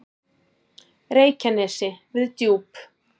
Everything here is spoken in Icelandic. Reykjanesi við Djúp.